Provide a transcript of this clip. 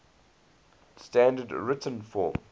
standard written form